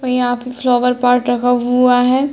और यहां पे फ्लावर पॉट रखा हुआ है।